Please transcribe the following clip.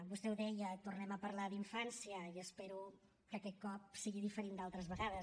vostè ho deia tornem a parlar d’infància i espero que aquest cop sigui diferent d’altres vegades